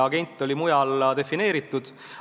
Agent oli mujalgi defineeritud.